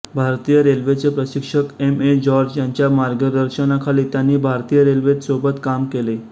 भारतीय रेल्वेचे प्रशिक्षक एम ए जॉर्ज यांच्या मार्गदर्शनाखाली त्यांनी भारतीय रेल्वेत सोबत काम केले